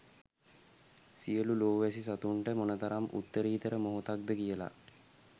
සියලු ලෝ වැසි සතුන්ට මොනතරම් උත්තරීතර මොහොතක්ද කියලා.